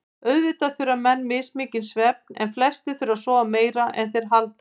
Auðvitað þurfa menn mismikinn svefn en flestir þurfa að sofa meira en þeir halda.